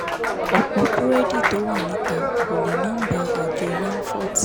ọ̀pọ̀ búrẹ́dì tó wà níta kò ní nọ́ńbà àjọ naffont